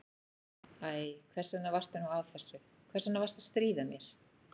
Æ, hvers vegna varstu nú að þessu, hvers vegna varstu að stríða mér?